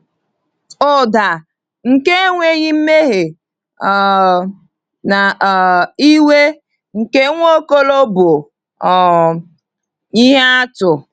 Ụda nke enweghị mmehie um na um iwe nke Nwaokolo bụ um ihe atụ.